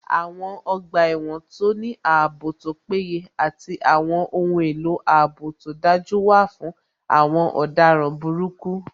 Àwọn ọgbà ẹ̀wọ̀n tó ní ààbò tó péye àti àwọn ohun èlò ààbò tó dájú wà fún àwọn ọ̀daràn burúkú